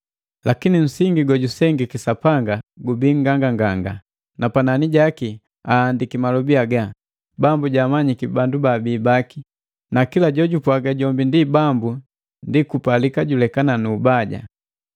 Lakini nsingi gojusengiki Sapanga gubii nganganganga, na panani jaki ahandiki malobi haga: “Bambu jaamanyiki bala baabii baki,” na “Kila jojupwaga jombi ndi Bambu, ndi kupalika julekana nu ubaja.”